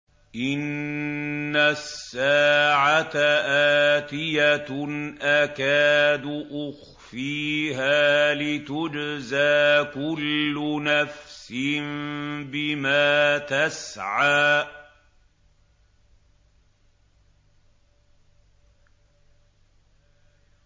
إِنَّ السَّاعَةَ آتِيَةٌ أَكَادُ أُخْفِيهَا لِتُجْزَىٰ كُلُّ نَفْسٍ بِمَا تَسْعَىٰ